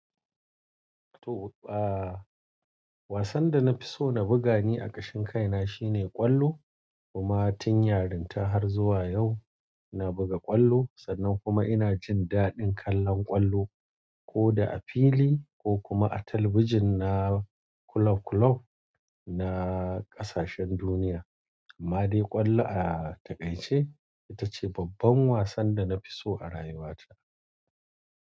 To, wasan da na fi so na buga ne a kashin kai na shine ƙwallo. Kuma tun yarinta har zuwa yau na buga ƙwallo sannan kuma ina jin daɗin kallon ƙwallo ko da a fili ko kuma a talabijin na club club na ƙasashen duniya. Amma dai ƙwallo a taƙaice ita ce babban wasan da na fi so a rayuwa ta.